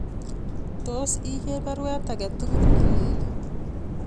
Tos iger baruet agetugul nelelach